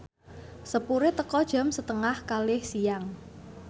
sepure teka jam setengah kalih siang